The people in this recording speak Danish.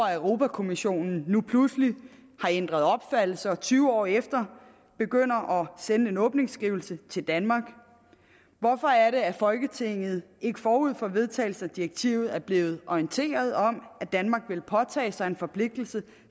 at europa kommissionen nu pludselig har ændret opfattelse og tyve år efter sender en åbningsskrivelse til danmark hvorfor er det at folketinget ikke forud for vedtagelsen af direktivet er blevet orienteret om at danmark ville påtage sig en forpligtelse